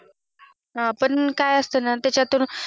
हा पण काय असत ना त्याच्यातून